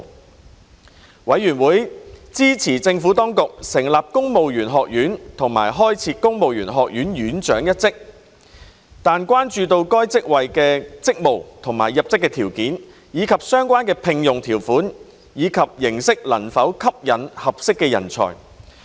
事務委員會支持政府當局成立公務員學院和開設公務員學院院長一職，但關注到該職位的職務、入職條件，以及相關聘用條款及形式能否吸引合適人才。